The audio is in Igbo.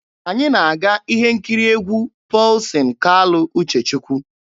Anyị na-aga ihe nkiri egwu Pọlsin Kalụ Uchechukwu.